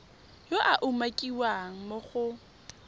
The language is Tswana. yo a umakiwang mo go